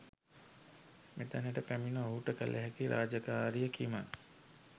මෙතැනට පැමිණ ඔහුට කළ හැකි රාජකාරිය කිම....?